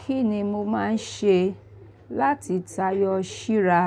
Kí ni mo máa ń ṣe láti tayọ ṣíra